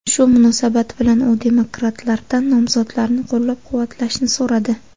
Shu munosabat bilan u demokratlardan nomzodlarni qo‘llab-quvvatlashni so‘radi.